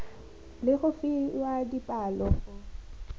le go fiwa dipalo go